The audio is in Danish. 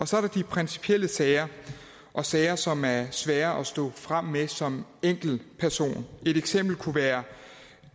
så er der de principielle sager og sager som er svære at stå frem med som enkeltperson et eksempel kunne være